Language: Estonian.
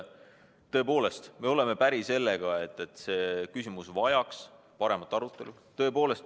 Tõepoolest, me oleme päri sellega, et see küsimus vajab paremat arutelu.